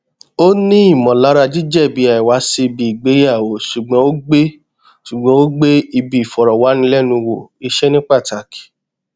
ó ní ìmọlara jíjẹbi àìwá sí ibi ìgbéyàwó ṣùgbọn ó gbé ṣùgbọn ó gbé ibi ìfọrọwánilẹnuwò iṣẹ ní pátàkì